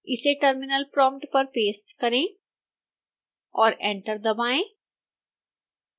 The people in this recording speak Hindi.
इसे terminal prompt पर पेस्ट करें और एंटर दबाएं